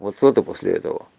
вот кто ты после этого